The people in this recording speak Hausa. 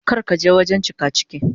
Kar ka je wajen cikaciki.